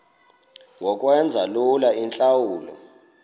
ngokwenza lula iintlawulo